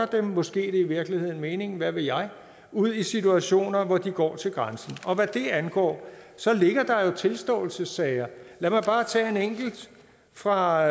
det er måske i virkeligheden meningen hvad ved jeg ud i situationer hvor de går til grænsen og hvad det angår ligger der jo nogle tilståelsessager lad mig bare tage en enkelt fra